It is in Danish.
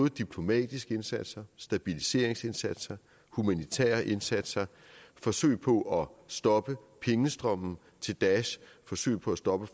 diplomatiske indsatser stabiliseringsindsatser humanitære indsatser forsøg på stoppe pengestrømmen til daesh forsøg på at stoppe